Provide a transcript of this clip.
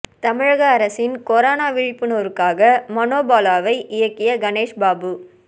தமிழக அரசின் கொரோனா விழிப்புணர்வுக்காக மனோ பாலாவை இயக்கிய கணேஷ் பாபு